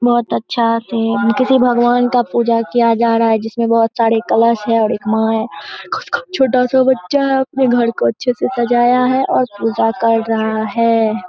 बहोत अच्छा से है किसी भगवान का पूजा किया जा रहा है जिसमें बहोत सारे कलश है और एक मां है छोटा सा बच्चा अपने घर को अच्छे से सजाया है और पूजा कर रहा है।